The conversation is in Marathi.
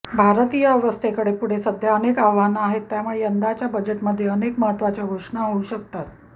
भारतीय अर्थव्यवस्थे पुढे सध्या अनेक आव्हानं आहेत त्यामुळे यंदाच्या बजेटमध्ये अनेक महत्त्वाच्या घोषणा होऊ शकतात